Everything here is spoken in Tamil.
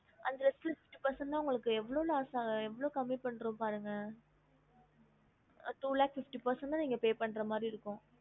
அதுல fifty percent தான் உங்களுக்கு எவ்ளோ loss ஆஹ் எவ்ளோ கம்பி பண்றோம்னு பாருங்க two lakhs fifty percent தான் நீங்க pay பண்ற மாரி இருக்கும்